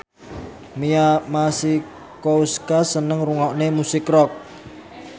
Mia Masikowska seneng ngrungokne musik rock